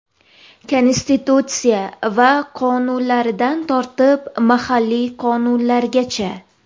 Konstitutsiya va qonunlaridan tortib, mahalliy qonunlargacha.